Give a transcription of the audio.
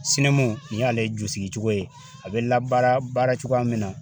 ni y'ale jusigicogo ye a bɛ labaara baaracogoya min na